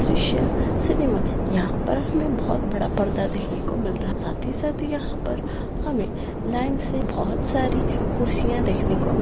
द्रीश्य cinema यहा पर हमे बहुत बड़ा पर्दा देखने को मिल रहा है साथी ही साथ यहा पर हमे लाइन से बहुत सारी कुर्सिया देखने को --